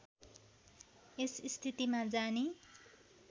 यस स्थितिमा जानी